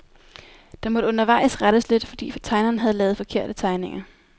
Der måtte undervejs rettes lidt, fordi tegneren havde lavet forkerte tegninger.